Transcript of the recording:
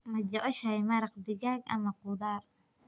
Ma jeceshahay maraq digaag ama khudaar?